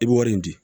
I bɛ wari in di